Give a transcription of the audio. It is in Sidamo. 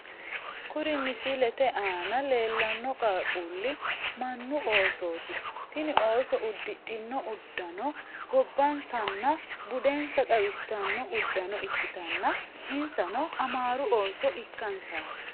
Kuri misilete aana leellanno qaaquulli mannu oosooti tini ooso uddidhino uddano gobbansanna budensa xawissanno uddano ikkitanna insano amaaru ooso ikkansaati.